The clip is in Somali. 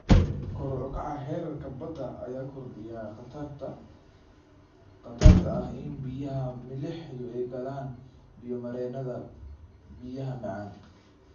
Kor u kaca heerarka badda ayaa kordhiya khatarta ah in biyaha milixdu ay galaan biyo-mareennada biyaha macaan.